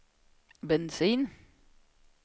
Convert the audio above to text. bensin